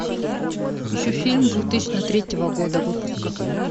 ищу фильм две тысячи третьего года выпуска